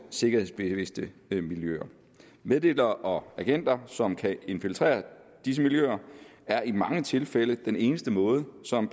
sikkerhedsbevidste miljøer meddelere og agenter som kan infiltrere disse miljøer er i mange tilfælde den eneste måde som